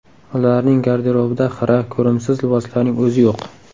Ularning garderobida xira, ko‘rimsiz liboslarning o‘zi yo‘q.